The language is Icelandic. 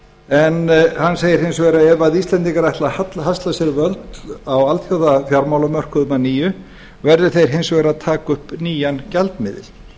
en hann segir hins vegar að ef íslendingar ætli að hasla sér völl á alþjóðafjármálamörkuðum að nýju verði þeir hins vegar að taka upp nýjan gjaldmiðil